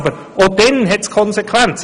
Aber auch dann hat es Konsequenzen.